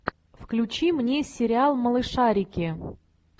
включи мне сериал малышарики